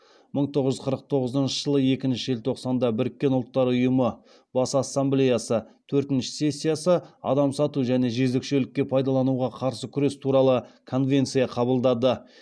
мың тоғыз жүз қырық тоғызыншы жылғы екінші желтоқсанда біріккен ұлттар ұйымы бас ассамблеясы төртінші сессиясы адам сату және жезөкшелікке пайдалануға қарсы күрес туралы конвенция қабылдады